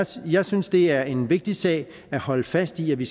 så jeg synes det er en vigtig sag at holde fast i at vi